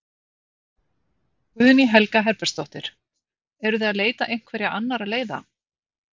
Guðný Helga Herbertsdóttir: Eruð þið að leita einhverja annarra leiða?